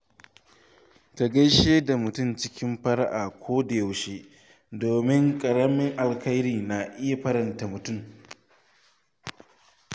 Ka gaishe da mutane cikin fara’a koda yaushe, domin ƙaramin alheri na iya faranta ran mutum.